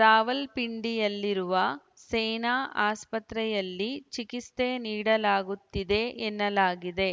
ರಾವಲ್ಪಿಂಡಿಯಲ್ಲಿರುವ ಸೇನಾ ಆಸ್ಪತ್ರೆಯಲ್ಲಿ ಚಿಕಿತ್ಸೆ ನೀಡಲಾಗುತ್ತಿದೆ ಎನ್ನಲಾಗಿದೆ